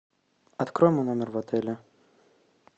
открой мой номер в отеле